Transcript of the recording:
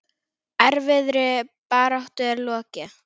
Erfiðri baráttu er lokið.